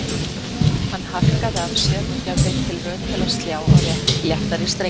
Hann harkaði af sér og gerði tilraun til að slá á léttari strengi